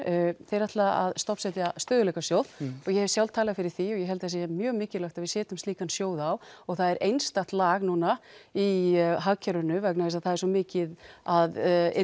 þeir ætla að stofnsetja stöðugleikasjóð og ég hef sjálf talað fyrir því og ég held að það sé mjög mikilvægt að við setjum slíkan sjóð á og það er einstakt lag núna í hagkerfinu vegna þess að það er svo mikið af